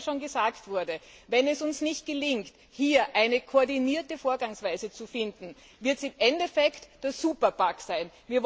Denn wie heute schon gesagt wurde wenn es uns nicht gelingt, hier eine koordinierte Vorgehensweise zu finden, wird es am Ende zum Superbug kommen.